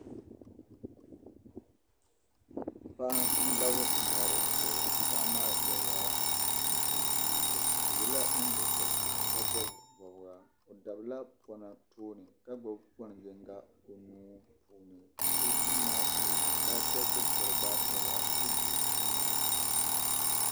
Paɣa n dabi mɔri zuɣu paɣa maa yela chinchini liiga. paɣa maa yela nyiŋgo korigu ka bɔbi bɔbiga, ɔ sabila pɔna tooni ka gbubi pɔn yiŋga ɔnuu puuni, ɔduu maa puuni basket pɛri gba nyɛla din be duu maa puuni